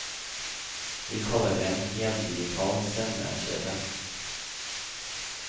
Vi kaller det en heldigital sendekjede.